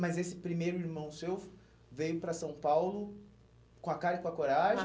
Mas esse primeiro irmão seu veio para São Paulo com a cara e com a coragem?